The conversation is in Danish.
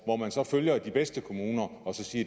hvor man så følger de bedste kommuner og siger